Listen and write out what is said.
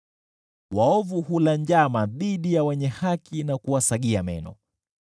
Waovu hula njama dhidi ya wenye haki na kuwasagia meno,